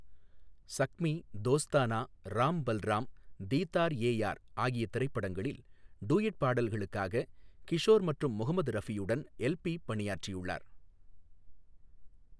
ஸக்மீ, தோஸ்தானா, ராம் பல்ராம், தீதார் ஏ யார் ஆகிய திரைப்படங்களில் டூயட் பாடல்களுக்காக கிஷோர் மற்றும் முகமது ரஃபியுடனும் எல் பி பணியாற்றியுள்ளார்.